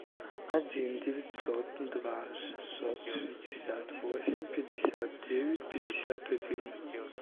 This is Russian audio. один девятьсот два шестьсот шестьдесят восемь пятьдесят девять пятьдесят один